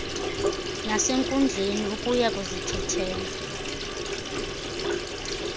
nasenkundleni ukya kuzithethelela